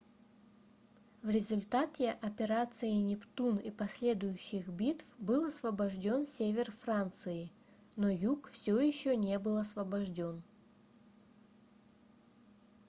в результате операции нептун и последующих битв был освобождён север франции но юг всё ещё не был освобождён